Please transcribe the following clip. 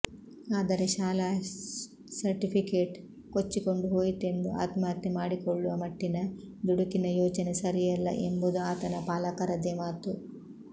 ಆದರೆ ಶಾಲಾ ಸರ್ಟಿಫಿಕೇಟ್ ಕೊಚ್ಚಿಕೊಂಡು ಹೋಯಿತೆಂದು ಆತ್ಮಹತ್ಯೆ ಮಾಡಿಕೊಳ್ಳುವ ಮಟ್ಟಿನ ದುಡುಕಿನ ಯೋಚನೆ ಸರಿಯಲ್ಲ ಎಂಬುದು ಆತನ ಪಾಲಕರದೇ ಮಾತು